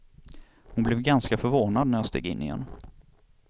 Hon blev ganska förvånad när jag steg in igen.